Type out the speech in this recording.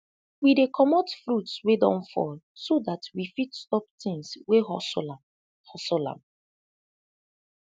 we dey comot fruits wey don fall so dat we fit stop tins wey hustle am hustle am